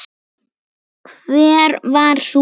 Hver var sú bók?